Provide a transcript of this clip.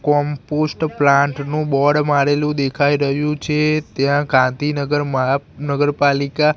compost plant નુ board મારેલુ દેખાય રહ્યુ છે ત્યાં કાંતિનગર મહાનગરપાલિકા--